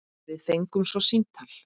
Við fengum svo símtal.